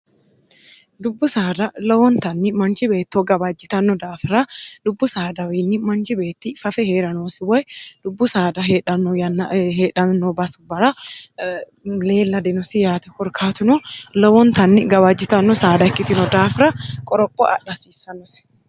dubbu saada lowontanni manci beettoo gabaajjitanno daafira dubbu saadawiinni manci beetti fafe hee'ranoosi woy dubbu saada heedhanno yanna heedhamno basu bara leelladinosi yaate korkaatuno lowontanni gabaajjitanno saada ikkitino daafira qoroqqo adh hasiissannosi